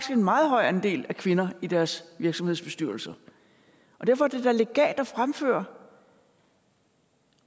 en meget høj andel af kvinder i deres virksomhedsbestyrelser og derfor er det da legalt at fremføre